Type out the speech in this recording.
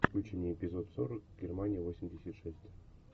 включи мне эпизод сорок германия восемьдесят шесть